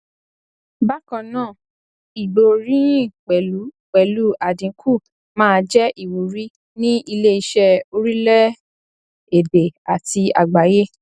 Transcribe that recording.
bákan náà ìgbóríyìn pẹlú pẹlú àdínkù máa jẹ ìwúrí ní iléiṣẹ orílẹ èdè àti àgbáyé